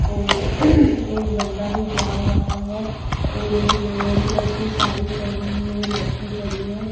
और एक बंदा भी जा रहा है और एक रेड कलर की साड़ी पहने हुए लड़की खड़ी है।